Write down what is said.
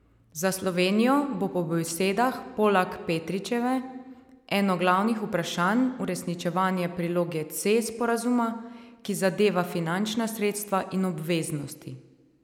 Za Slovenijo bo po besedah Polak Petričeve eno glavnih vprašanj uresničevanje priloge C sporazuma, ki zadeva finančna sredstva in obveznosti.